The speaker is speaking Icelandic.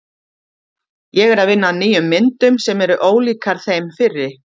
Ég er að vinna að nýjum myndum sem eru ólíkar þeim fyrri.